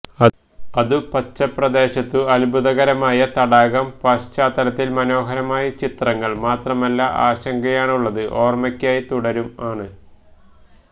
അതു പച്ച പ്രദേശത്തു അത്ഭുതകരമായ തടാകം പശ്ചാത്തലത്തിൽ മനോഹരമായ ചിത്രങ്ങൾ മാത്രമല്ല ആശങ്കയാണുള്ളത് ഓർമ്മക്കായി തുടരും ആണ്